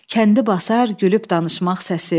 kəndi basar gülüb danışmaq səsi.